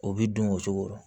O bi dun o cogo rɔ